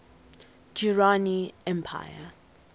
durrani empire